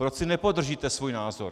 Proč si nepodržíte svůj názor?